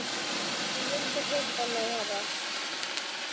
Þú vildir hitta mig herra?